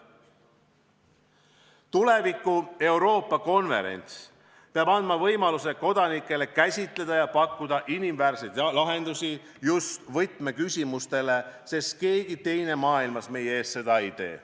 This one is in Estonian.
Tuleviku Euroopa konverents peab andma kodanikele võimaluse käsitleda just võtmeküsimusi ja pakkuda neile inimväärseid lahendusi, sest keegi teine maailmas meie eest seda ei tee.